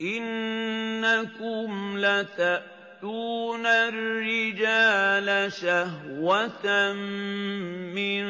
إِنَّكُمْ لَتَأْتُونَ الرِّجَالَ شَهْوَةً مِّن